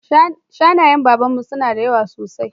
Shanayen Baban mu suna da yawa sosai